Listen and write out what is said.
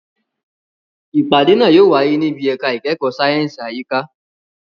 Ìpàdé náà yóò wáyé níbi ẹ̀ka ìkẹ́kọ̀ọ́ sáyẹ̀nsì àyíká.